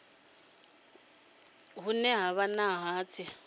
hune ha vha na hatsi